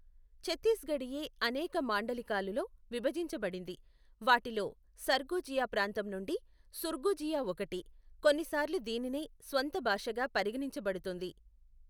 చత్తీస్గఢీయే అనేక మాండలికాలులో విభజించబడింది, వాటిలో సర్గుజియా ప్రాంతం నుండి సుర్గుజియా ఒకటి, కొన్నిసార్లు దీనినే స్వంత భాషగా పరిగణించబడుతుంది.